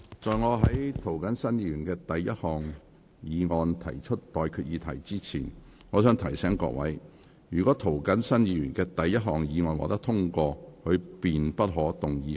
在我就涂謹申議員的第一項議案提出待決議題之前，我想提醒各位，若涂謹申議員的第一項議案獲得通過，他便不可動議他的第二項議案。